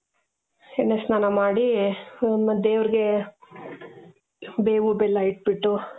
ಎಣ್ಣೆ ಸ್ನಾನ ಮಾಡಿ ಹ್ಞೂ ದೇವರ್ಗೆ ಬೇವು ಬೆಲ್ಲಾ ಇಟ್ಬಿಟ್ಟು